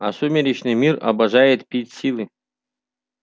а сумеречный мир обожает пить силы